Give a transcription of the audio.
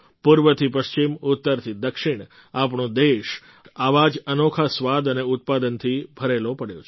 પૂર્વથી પશ્ચિમ ઉત્તરથી દક્ષિણ આપણો દેશ આવા જ અનોખા સ્વાદ અને ઉત્પાદનથી ભરેલો પડ્યો છે